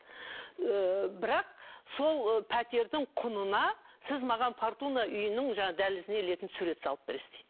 ыыы бірақ сол пәтердің құнына сіз маған фортуна үйінің жаңағы дәлізіне ілетін сурет салып бересіз дейді